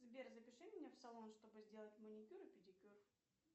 сбер запиши меня в салон чтобы сделать маникюр и педикюр